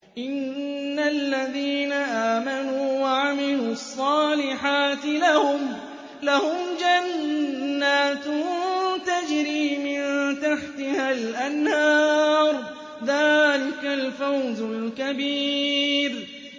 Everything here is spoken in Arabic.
إِنَّ الَّذِينَ آمَنُوا وَعَمِلُوا الصَّالِحَاتِ لَهُمْ جَنَّاتٌ تَجْرِي مِن تَحْتِهَا الْأَنْهَارُ ۚ ذَٰلِكَ الْفَوْزُ الْكَبِيرُ